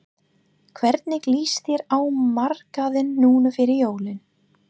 Hvernig lýst þér á markaðinn núna fyrir jólin?